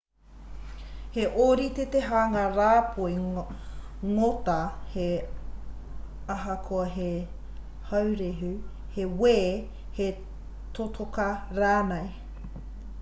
he ōrite te hanga rāpoi ngota he ahakoa he haurehu he wē he totoka rānei